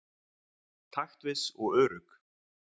Taktviss og örugg.